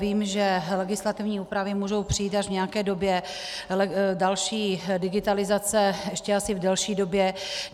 Vím, že legislativní úpravy můžou přijít až v nějaké době, další digitalizace ještě asi v delší době.